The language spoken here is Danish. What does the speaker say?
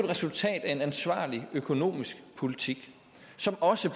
resultat af en ansvarlig økonomisk politik som også